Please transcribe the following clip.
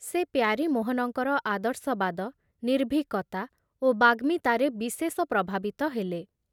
ସେ ପ୍ୟାରୀମୋହନଙ୍କର ଆଦର୍ଶବାଦ, ନିର୍ଭୀକତା ଓ ବାଗ୍ମୀତାରେ ବିଶେଷ ପ୍ରଭାବିତ ହେଲେ।